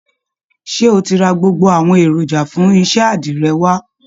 Ṣé o ti ra gbogbo àwọn èròjà fún iṣẹ́ àdìrẹ wá?